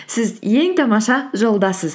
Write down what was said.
сіз ең тамаша жолдасыз